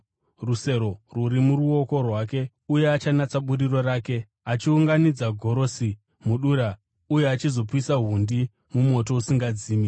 Rusero rwuri muruoko rwake, uye achanatsa buriro rake, achiunganidza gorosi mudura, uye achizopisa hundi mumoto usingadzimi.”